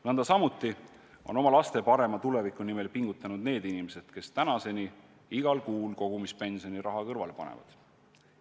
Nõndasamuti on oma laste parema tuleviku nimel pingutanud need inimesed, kes tänaseni igal kuul kogumispensioni raha kõrvale panevad.